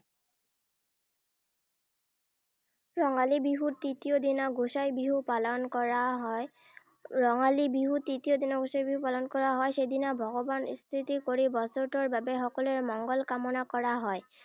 ৰঙালী বিহুৰ তৃতীয় দিনা গোঁসাই বিহু পালন কৰা হয়। ৰঙালী বিহুৰ তৃতীয় দিনা গোঁসাই বিহু পালন কৰা হয়। সেইদিনা ভগৱান স্তুতি কৰি বছৰটোৰ বাবে সকলোৰে মংগল কামনা কৰা হয়।